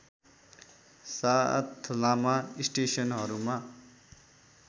साथ लामा स्टेसनहरूमा